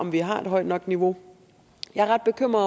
vi har et højt nok niveau jeg er ret bekymret